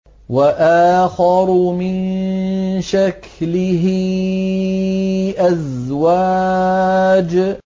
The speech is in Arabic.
وَآخَرُ مِن شَكْلِهِ أَزْوَاجٌ